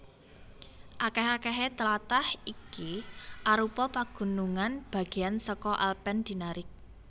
Akèh akèhé tlatah iki arupa pagunungan bagéan saka Alpen Dinaric